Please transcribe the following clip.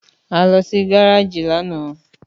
Àlọ sì gàràjì lànà